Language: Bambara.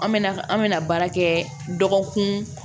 An mɛna an mɛna baara kɛ dɔgɔkun